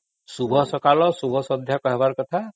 ଶୁଭ ସକାଳ ଶୁଭ ସନ୍ଧ୍ୟା କହିବାର କଥା